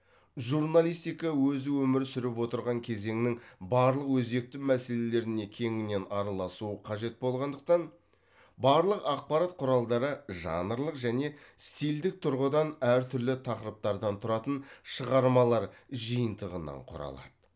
журналистика өзі өмір сүріп отырған кезеңнің барлық өзекті мәселелеріне кеңінен араласуы қажет болғандықтан барлық ақпарат құралдары жанрлық және стильдік тұрғыдан әр түрлі тақырыптардан тұратын шығармалар жиынтығынан құралады